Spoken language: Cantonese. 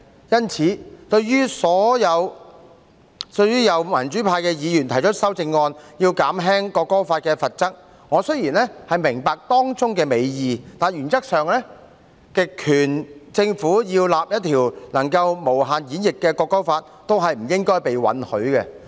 因此，對於有民主派的議員提出修正案，以減輕《條例草案》的罰則，我雖然明白當中的美意，但原則上，極權政府要訂立一項能夠無限演繹的《條例草案》，都不應該被允許。